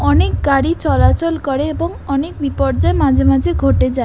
অনেক গাড়ি চলাচল করে এবং অনেক বিপর্যয় মাঝে মাঝে ঘটে যায়।